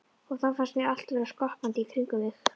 Og þá fannst mér allt vera skoppandi í kringum mig.